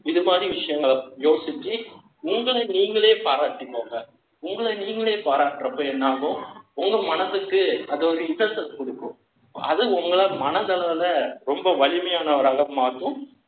இது மாரி விஷயங்களை, யோசிச்சு, உங்களை நீங்களே பாராட்டிக்கோங்க. உங்களை நீங்களே பாராட்டுறப்போ என்னாகும் உங்க மனதுக்கு, அது ஒரு interest கொடுக்கும். அது உங்களை மனதளவுல, ரொம்ப வலிமையானவராக